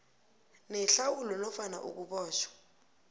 nehlawulo nofana ukubotjhwa